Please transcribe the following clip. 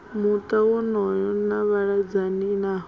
muta wonoyo na vhaledzani nawo